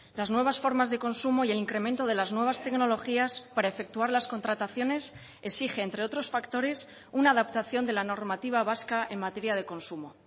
las nuevas formas de consumo y el incremento de las nuevas tecnologías para efectuar las contrataciones exige entre otros factores una adaptación de la normativa vasca en materia de consumo